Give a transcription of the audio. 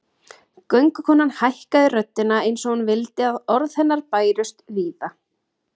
Göngukonan hækkaði röddina eins og hún vildi að orð hennar bærust víða